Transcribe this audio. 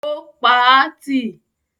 Ó pa á tì.